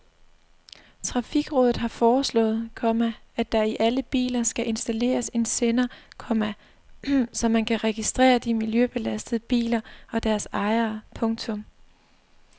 Trafikrådet har foreslået, komma at der i alle biler skal installeres en sender, komma så man kan registrere de miljøbelastende biler og deres ejere. punktum